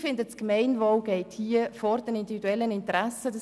Ich finde, dass das Gemeinwohl hierbei vor individuellen Interessen steht.